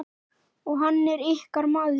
Og hann er ykkar maður.